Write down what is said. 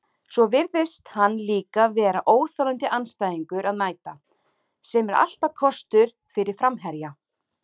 Svo virðist hann líka vera óþolandi andstæðingur að mæta, sem er alltaf kostur fyrir framherja.